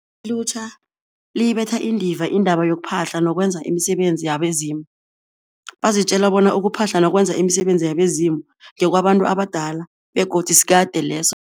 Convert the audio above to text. Ilutjha liyibetha indiva indaba yokuphahla nokwenza imisebenzi yabezimu, bazitjela bona ukuphahla nokwenza imisebenzi yabezimu ngekwabantu abadala begodu sikade leso.